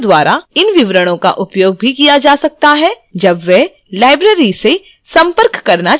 सदस्यों द्वारा इन विवरणों का उपयोग भी किया जा सकता है जब वे library से संपर्क करना चाहते हैं